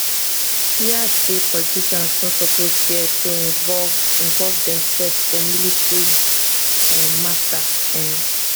e add say politicians no suppose fear to involve involve demsef for military um mata um